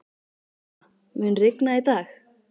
Náttúra, mun rigna í dag?